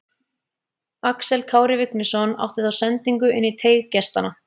Axel Kári Vignisson átti þá sendingu inn í teig gestanna.